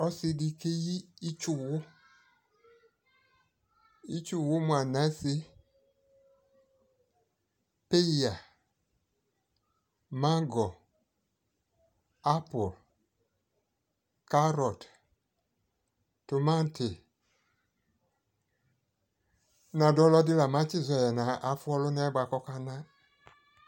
Ɔsi dι keyi ιtsuwu Itsuwu mʋ anase, peya mango, apol, karɔt, timati Nadʋ ɔlʋɔdi nabatizɔ yɛ nʋ afu ɔlʋna yɛ bua kʋ ɔkana